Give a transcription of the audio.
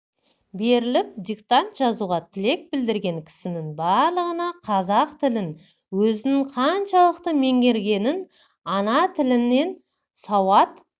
беріліп диктант жазуға тілек білдірген кісінің барлығына қазақ тілін өзінің қаншалықты меңгергенін ана тілінен сауат